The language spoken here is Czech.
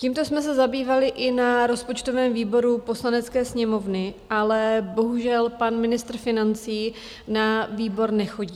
Tímto jsme se zabývali i na rozpočtovém výboru Poslanecké sněmovny, ale bohužel, pan ministr financí na výbor nechodí.